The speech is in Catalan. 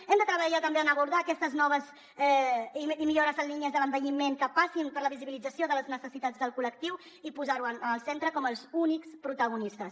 hem de treballar també en abordar aquestes noves millores en línies de l’envelliment que passin per la visibilització de les necessitats del col·lectiu i posar ho en el centre com els únics protagonistes